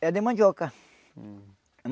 Era de mandioca.